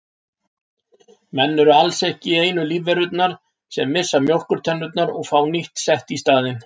Menn eru alls ekki einu lífverurnar sem missa mjólkurtennurnar og fá nýtt sett í staðinn.